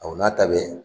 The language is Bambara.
Aw n'a ta bɛ